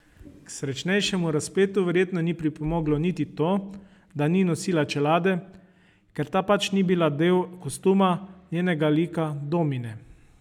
K srečnejšemu razpletu verjetno ni pripomoglo niti to, da ni nosila čelade, ker ta pač ni bila del kostuma njenega lika Domine.